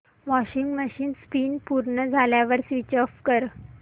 washing machine spin पूर्ण झाल्यावर switch off कर